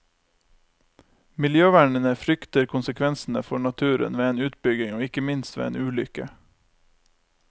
Miljøvernerne frykter konsekvensene for naturen ved en utbygging og ikke minst ved en ulykke.